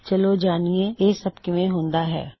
ਚਲੋ ਜਾੱਣਿਏ ਇਹ ਸੱਬ ਕਿਵੇਂ ਹੁੰਦਾ ਹੈ